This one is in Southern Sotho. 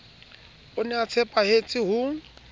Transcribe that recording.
o ne a tshepetse ho